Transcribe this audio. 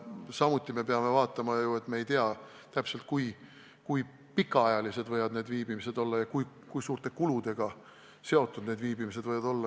Samuti peame vaatama seda, et me ei tea ju täpselt, kui pikaajalised need viibimised võivad olla ja kui suured kulud võivad nendega kaasneda.